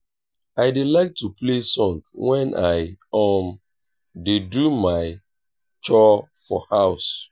i dey like to play song wen i um dey do my chore for house